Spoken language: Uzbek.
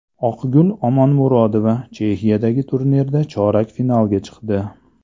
Oqgul Omonmurodova Chexiyadagi turnirda chorak finalga chiqdi.